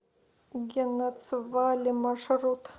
генацвале маршрут